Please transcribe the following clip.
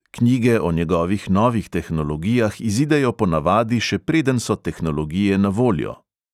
Knjige o njegovih novih tehnologijah izidejo ponavadi, še preden so tehnologije na voljo.